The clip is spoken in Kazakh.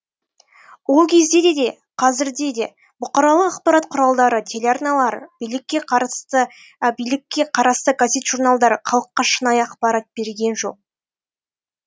ол кезде де қазір де бұқаралық ақпарат құралдары телеарналар билікке қарасты газет журналдар халыққа шынайы ақпарат берген жоқ